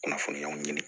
Kunnafoniyaw ɲini